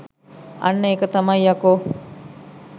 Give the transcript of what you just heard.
අන්න ඒක තමයි යකෝ